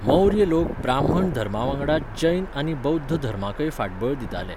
मौर्य लोक ब्राह्मण धर्मावांगडाच जैन आनी बौध्द धर्माकय फाटबळ दिताले.